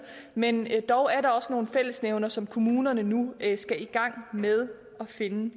men dog er der også nogle fællesnævnere som kommunerne nu skal i gang med at finde